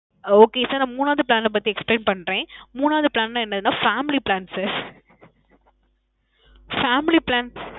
okay sir. மூணாவது plan பத்தி explain பன்றேன். மூணாவது plan ல என்னன்னா family plan sir. family plan.